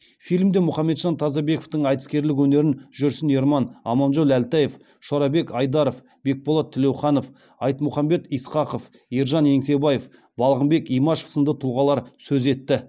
фильмде мұхамеджан тазабековтың айтыскерлік өнерін жүрсін ерман аманжол әлтаев шорабек айдаров бекболат тілеуханов айтмұхамбет исқақов балғынбек имашев сынды тұлғалар сөз етті